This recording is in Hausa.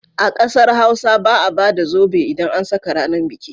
A ƙasar Hausa ba a ba da zobe idan an saka ranar biki.